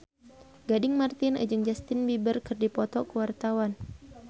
Gading Marten jeung Justin Beiber keur dipoto ku wartawan